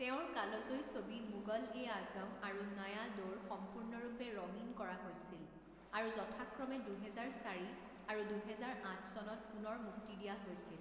তেওঁৰ কালজয়ী ছবি মুগল এ আজম আৰু নয়া দৌৰ সম্পূৰ্ণৰূপে ৰঙীন কৰা হৈছিল আৰু যথাক্ৰমে দুহেজাৰ চাৰি আৰু দুহেজাৰ আঠ চনত পুনৰ মুক্তি দিয়া হৈছিল।